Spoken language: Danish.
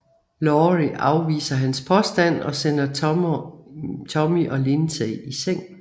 Laurie afviser hans påstand og sender Tommy og Lindsey i seng